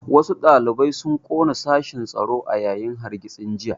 Wasu ɗalibai sun ƙona sashen tsaro a yayin hargitsin jiya